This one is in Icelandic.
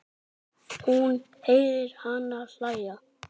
Hún heyrir hana hlæja.